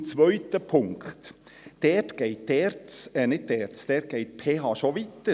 Zum zweiten Punkt: Dort geht die ERZ, nein, nicht die ERZ, sondern dort geht die PH schon weiter.